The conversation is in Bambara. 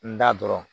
N da dɔrɔn